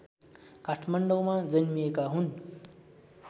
काठमाडौँमा जन्मिएका हुन्